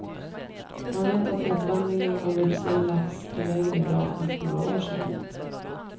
Man vet att återvandringen av vuxen lax är lägre idag än för några år sedan.